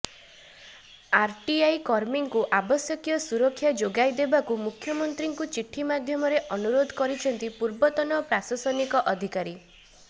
RTI କର୍ମୀଙ୍କୁ ଆବଶ୍ୟକୀୟ ସୁରକ୍ଷା ଯୋଗାଇ ଦେବାକୁ ମୁଖ୍ୟମନ୍ତ୍ରୀଙ୍କୁ ଚିଠି ମାଧ୍ୟମରେ ଅନୁରୋଧ କରିଛନ୍ତି ପୂର୍ବତନ ପ୍ରଶାସନିକ ଅଧିକାରୀ